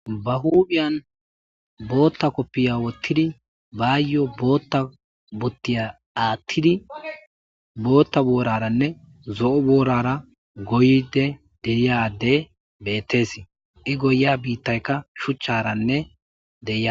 Ba huudhiyan bootta koppiya wottidi baayyo bootta buttiya aattidi bootta booraranne zo7o boorara goyde deiyade bettes. iIgoya biittaykka shuchcharanne deya,